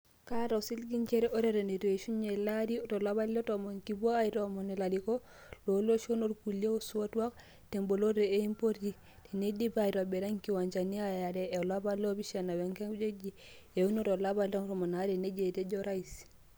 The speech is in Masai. "Kaata osiligi njere ore eton eitu eishunye ele arii tolapa le tomon kipuo aitoomon ilarikok looloshon olkulia aisotuak teboloto e mpoti teneidipi aitobira engiwanja eyare tolapa leoipishana wengiwanja eunii tolapa le tomon," nejia etejo Orais.